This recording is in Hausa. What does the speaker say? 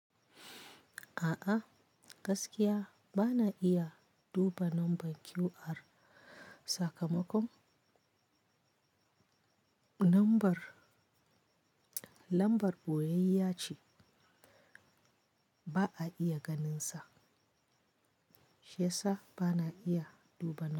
A'a, gaskiya bana iya duba lambar QR. Sakamakon lambar, lambar boyayya ce ba a iya ganinsa, shiyasa bana iya duba lambar.